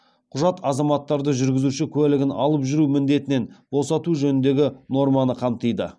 құжат азаматтарды жүргізуші куәлігін алып жүру міндетінен босату жөніндегі норманы қамтиды